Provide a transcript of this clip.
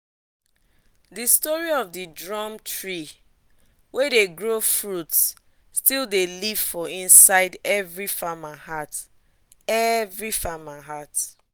the story of the drum tree wey dey grow fruit still dey live for inside every farmer heart every farmer heart